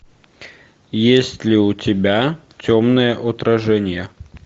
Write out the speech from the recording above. есть ли у тебя темное отражение